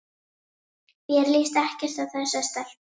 Mér líst ekkert á þessa stelpu.